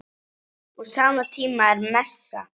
Á sama tíma er messa.